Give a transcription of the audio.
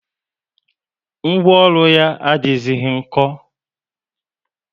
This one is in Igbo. Ngwaọrụ yá adighizi nko